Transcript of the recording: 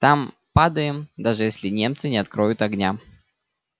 там падаем даже если немцы не откроют огня